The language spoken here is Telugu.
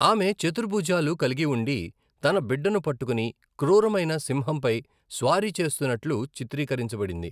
ఆమె చతుర్భుజాలు కలిగి ఉండి, తన బిడ్డను పట్టుకుని క్రూరమైన సింహంపై స్వారీ చేస్తున్నట్లు చిత్రీకరించబడింది.